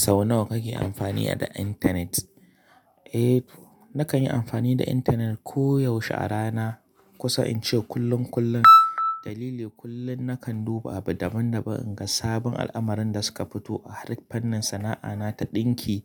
Sau nawa kake amfani da internet? Eh to, na kan yi amfani da internet koyaushe a rana. Kusa in ce kullun kullun. Dalili, kullum na kan duba abu daban-daban in ga sabon al'amarin da suka fito a harkar fannin sana'ana ta ɗinki,